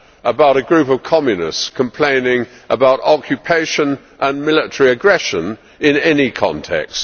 about a group of Communists complaining about occupation and military aggression in any context.